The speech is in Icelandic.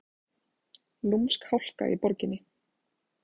Lúmsk hálka í borginni